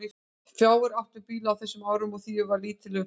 Fáir áttu bíla á þessum árum og því var lítil umferð.